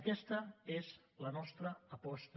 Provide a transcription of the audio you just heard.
aquesta és la nostra aposta